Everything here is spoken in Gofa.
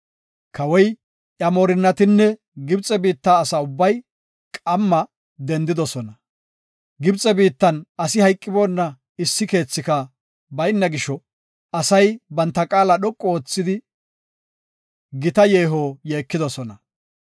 Kawoy, iya moorinnatinne Gibxe biitta asa ubbay qamma dendidosona. Gibxe biittan asi hayqiboona issi keethika bayna gisho, asay banta qaala dhoqu oothidi gita yeeho yeekidosona.